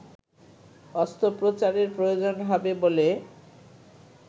অস্ত্রোপচারের প্রয়োজন হবে বলে